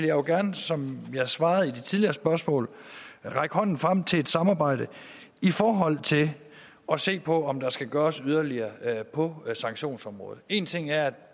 jo gerne som jeg svarede ved det tidligere spørgsmål række hånden frem til et samarbejde i forhold til at se på om der skal gøres yderligere på sanktionsområdet én ting er at